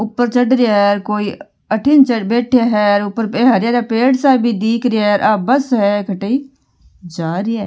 ऊपर चढ़ रया है कोई अठन बैठे है और ऊपर हरया हरया स पेड़ सा भी दिखरी है और बस है कठई जा रही है।